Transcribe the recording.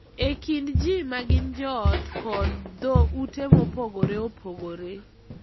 e kind ji ma gin joot kod dho ute mopogore opogore,